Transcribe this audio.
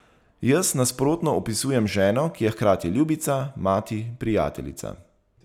Jaz, nasprotno, opisujem ženo, ki je hkrati ljubica, mati, prijateljica...